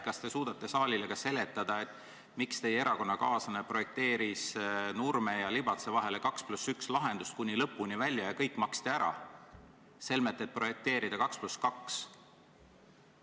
Kas te suudate saalile seletada, miks teie erakonnakaaslane projekteeris Nurme ja Libatse vahele 2 + 1 lahendust kuni lõpuni välja ja kõik maksti ära, selmet et projekteerida 2 + 2?